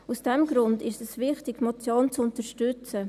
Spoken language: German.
Aus diesem Grund ist es wichtig, die Motion zu unterstützen.